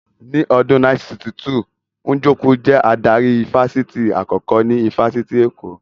Ní ọdún 1962, Njoku jẹ́ adarí ifásitì àkọ́kọ́ ní ifásitì Èkó